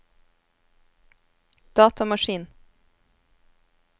datamaskin